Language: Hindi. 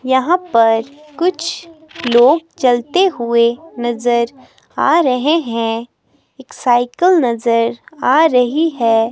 यहां पर कुछ लोग चलते हुए नजर आ रहे हैं एक साइकिल नजर आ रही है।